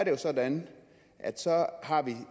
jo sådan at så har vi